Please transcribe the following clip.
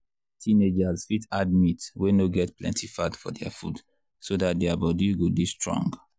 teenagers fit add meat wey no get plenty fat for their food so dat their their body go dey strong.